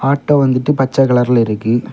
Auto வந்துட்டு பச்சை கலர்ல இருக்கு.